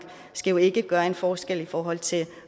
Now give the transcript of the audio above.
skal jo ikke gøre en forskel i forhold til